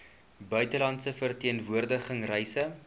buitelandse verteenwoordiging reise